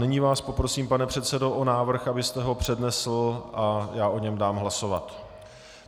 Nyní vás poprosím, pane předsedo, o návrh, abyste ho přednesl a já o něm dám hlasovat.